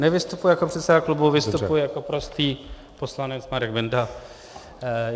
Nevystupuji jako předseda klubu, vystupuji jako prostý poslanec Marek Benda.